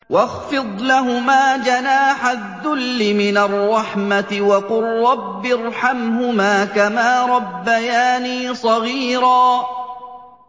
وَاخْفِضْ لَهُمَا جَنَاحَ الذُّلِّ مِنَ الرَّحْمَةِ وَقُل رَّبِّ ارْحَمْهُمَا كَمَا رَبَّيَانِي صَغِيرًا